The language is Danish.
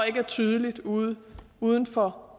ikke er tydeligt uden uden for